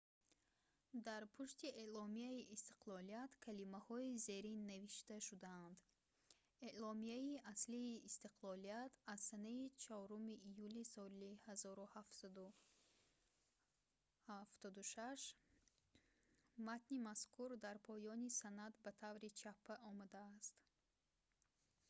дар пушти эъломияи истиқлолият калимаҳои зерин навишта шудаанд: «эъломияи аслии истиқлолият аз санаи 4 июли соли 1776". матни мазкур дар поёни санад ба таври чаппа омадааст